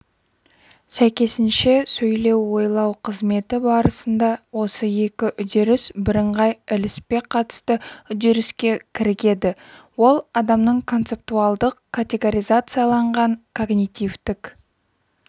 сәйкесінше сөйлеу ойлау қызметі барысында осы екі үдеріс бірыңғай ілеспе-қатысты үдеріске кірігеді ол адамның концептуалдық-категоризацияланған когнитивтік